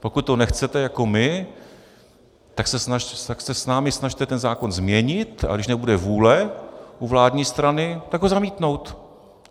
Pokud to nechcete jako my, tak se s námi snažte ten zákon změnit, a když nebude vůle u vládní strany, tak ho zamítnout.